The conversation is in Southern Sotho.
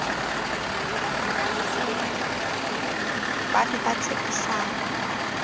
ba ne ba tshepisane a